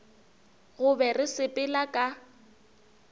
go be re sepela ka